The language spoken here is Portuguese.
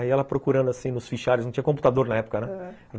Aí ela procurando assim nos fichários, não tinha computador na época, né? aham.